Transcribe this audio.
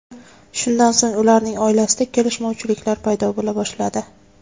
Shundan so‘ng ularning oilasida kelishmovchiliklar paydo bo‘la boshladi.